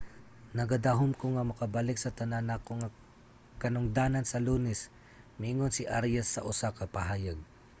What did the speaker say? nagadahom ko nga makabalik sa tanan nako nga katungdanan sa lunes, miingon si arias sa usa ka pahayag